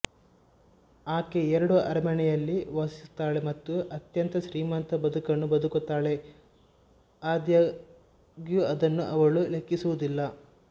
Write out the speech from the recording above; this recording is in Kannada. ಆಕೆ ಎರಡು ಅರಮನೆಯಲ್ಲಿ ವಾಸಿಸುತ್ತಾಳೆ ಮತ್ತು ಅತ್ಯಂತ ಶ್ರೀಮಂತ ಬದುಕನ್ನು ಬದುಕುತ್ತಾಳೆ ಆದಾಗ್ಯೂ ಅದನ್ನು ಅವಳು ಲೆಕ್ಕಿಸುವುದಿಲ್ಲ